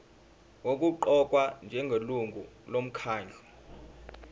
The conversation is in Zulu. nokuqokwa njengelungu lomkhandlu